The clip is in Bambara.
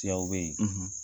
Tiyaw be ye